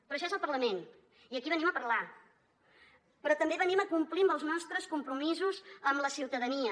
però això és el parlament i aquí venim a parlar però també venim a complir amb els nostres compromisos amb la ciutadania